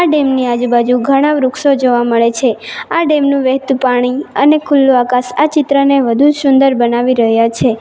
Dam ની આજુબાજુ ઘણા વૃક્ષો જોવા મળે છે આ ડેમ નું વહેતું પાણી અને ખુલ્લુ આકાશ આ ચિત્રને વધુ શુંદર બનાવી રહ્યા છે.